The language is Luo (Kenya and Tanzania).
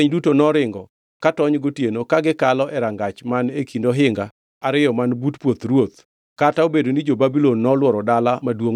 Bangʼ mano ohinga mar dala maduongʼno nomuki kendo jolweny duto noringo ka tony gotieno ka gikalo e rangach man e kind ohinga ariyo man but puoth ruoth, kata obedo ni jo-Babulon nolworo dala maduongʼno kamano. Negiringo ka gichomo Araba,